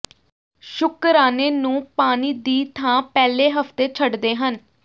ਸ਼ੁਕਰਾਨੇ ਨੂੰ ਪਾਣੀ ਦੀ ਥਾਂ ਪਹਿਲੇ ਹਫ਼ਤੇ ਛੱਡਦੇ ਹਨ